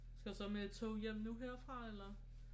Skal du så med et tog hjem nu herfra eller